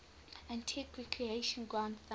antigua recreation ground thumb